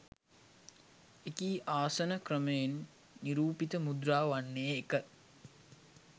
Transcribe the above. එකී ආසන ක්‍රමයෙන් නිරූපිත මුද්‍රාව වන්නේ, 1.